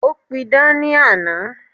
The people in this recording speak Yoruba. Ó pidán ní àná.